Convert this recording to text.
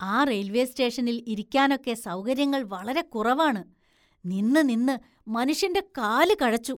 ആ റെയില്‍വേ സ്‌റ്റേഷനില്‍ ഇരിക്കാനൊക്കെ സൗകര്യങ്ങള്‍ വളരെ കുറവാണ്, നിന്ന്, നിന്ന്, മനുഷ്യന്റെ കാല് കഴച്ചു.